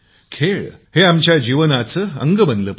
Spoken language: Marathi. खेळ आमच्या जीवनाचा अंग बनले पाहिजे